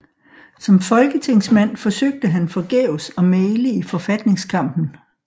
Som folketingsmand forsøgte han forgæves at mægle i forfatningskampen